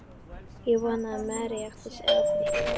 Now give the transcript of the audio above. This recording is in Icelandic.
Ég vona að Mary átti sig á því.